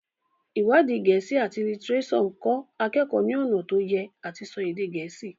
iwadi Gèésì at litireso nkọ akeko ní ọnà to Ye àti so èdè gèésì.